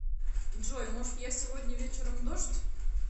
джой может я сегодня вечером дождь